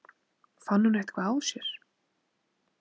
Fann hún eitthvað á sér?